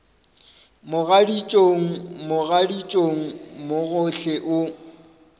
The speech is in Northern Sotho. mogaditšong mogaditšong mo gohle o